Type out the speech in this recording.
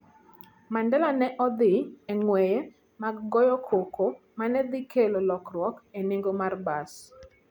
Mandela ne odhi e ng'weye mag goyo koko ma ne dhi kelo lokruok e nengo mar bas.